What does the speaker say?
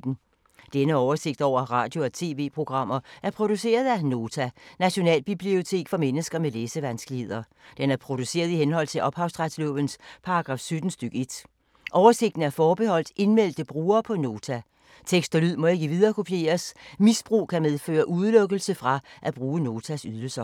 Denne oversigt over radio og TV-programmer er produceret af Nota, Nationalbibliotek for mennesker med læsevanskeligheder. Den er produceret i henhold til ophavsretslovens paragraf 17 stk. 1. Oversigten er forbeholdt indmeldte brugere på Nota. Tekst og lyd må ikke viderekopieres. Misbrug kan medføre udelukkelse fra at bruge Notas ydelser.